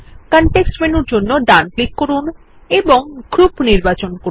context মেনুর জন্য ডান ক্লিক করুন এবং গ্রুপ নির্বাচন করুন